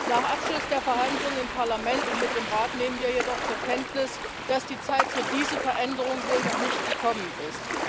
Nach Abschluss der Verhandlungen im Parlament und mit dem Rat nehmen wir jedoch zur Kenntnis, dass die Zeit für diese Veränderung wohl noch nicht gekommen ist.